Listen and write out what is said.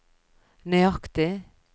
nøyaktig